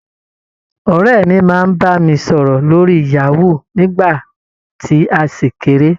Ọ̀rẹ́ mi máa ń bá mi sọ̀rọ̀ lórí Yahoo, nígbà tí a ṣì kéré.